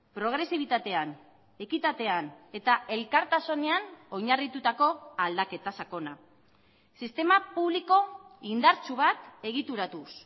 progresibitatean ekitatean eta elkartasunean oinarritutako aldaketa sakona sistema publiko indartsu bat egituratuz